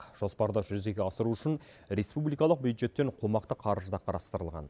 жоспарды жүзеге асыру үшін республикалық бюджеттен қомақты қаржы да қарастырылған